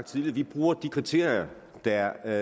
tidligere vi bruger de kriterier der